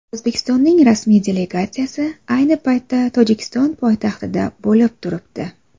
O‘zbekistonning rasmiy delegatsiyasi ayni paytda Tojikiston poytaxtida bo‘lib turibdi.